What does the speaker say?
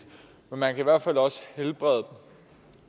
men man kan i hvert fald også helbrede